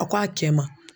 A ko a cɛ ma